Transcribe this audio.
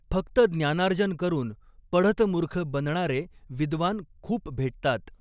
फक्त ज्ञानार्जन करून पढतमूर्ख बनणारे विद्वान खूप भेटतात.